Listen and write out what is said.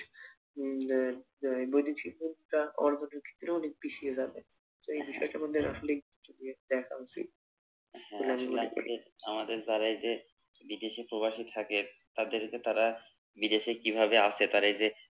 উম যে আহ বৈদেশিক হোক ব্যাপার এই বিষয়টা আমাদের আসলেই দেখা উচিত বলে আমি মনে করি হ্যা আসলে আমাদের আমাদের যারা এই যে বিদেশে প্রবাসে থাকে তাদের যে তারা বিদেশে কিভাবে আছে তারা এই যে